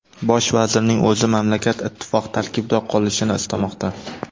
Bosh vazirning o‘zi mamlakat ittifoq tarkibida qolishini istamoqda.